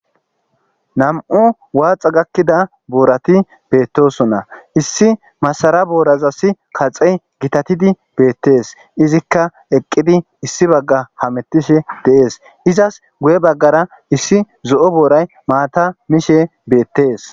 nam'u waaxa gakkida boorati beettosonna issi masara boorazassi kaxe gitatidi beettees izikka eqqidi issi bagga hamettishe dees izas guye baggara issi z'oo booray maata mishe beettees